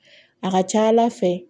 A ka ca ala fɛ